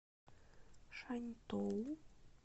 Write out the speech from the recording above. шаньтоу